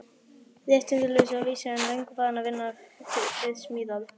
Réttindalausan að vísu, en löngu farinn að vinna við smíðar.